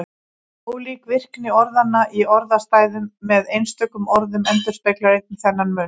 Ólík virkni orðanna í orðastæðum með einstökum orðum endurspeglar einnig þennan mun.